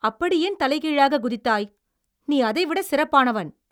அப்படி ஏன் தலைகீழாகக் குதித்தாய்? நீ அதைவிட சிறப்பானவன்.